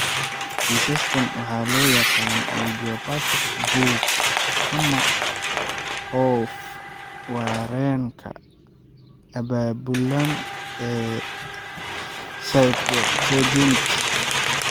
Kiisaskaan waxaa loo yaqaan idiopathic BOOP ama oof-wareenka abaabulan ee cryptogenic.